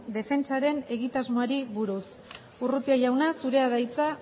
defentsaren egitasmoari buruz urrutia jauna zurea da hitza